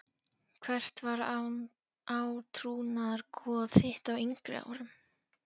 Hvert var átrúnaðargoð þitt á yngri árum?